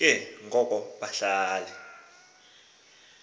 ke ngoko bahlale